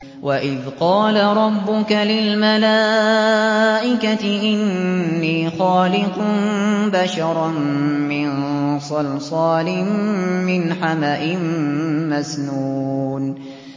وَإِذْ قَالَ رَبُّكَ لِلْمَلَائِكَةِ إِنِّي خَالِقٌ بَشَرًا مِّن صَلْصَالٍ مِّنْ حَمَإٍ مَّسْنُونٍ